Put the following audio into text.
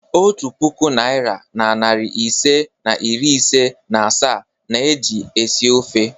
Otu puku naịra na narị ise na iri ise na asaa na-eji esi ofe.